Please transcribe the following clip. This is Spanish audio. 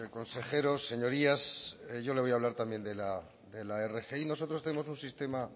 consejeros señorías yo le voy a hablar también de la rgi nosotros tenemos un sistema